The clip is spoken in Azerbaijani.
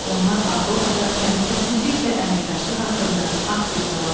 Onlar Avropada təhlükəsizlik və əməkdaşlıq haqqında akt imzaladılar.